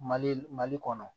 Mali mali kɔnɔ